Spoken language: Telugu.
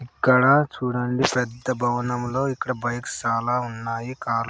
ఇక్కడ చూడండి పెద్ద భవనంలో ఇక్కడ బైక్స్ చాలా ఉన్నాయి కార్ .